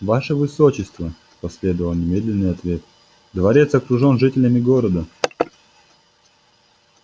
ваше высочество последовал немедленный ответ дворец окружен жителями города